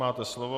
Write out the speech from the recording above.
Máte slovo.